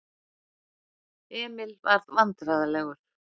Emil varð vandræðalegur.